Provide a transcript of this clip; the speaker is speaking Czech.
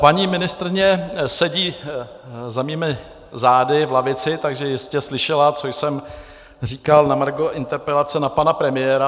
Paní ministryně sedí za mými zády v lavici, takže jistě slyšela, co jsem říkal na margo interpelace na pana premiéra.